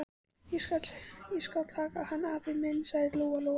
Ég skal taka hann, afi minn, sagði Lóa-Lóa.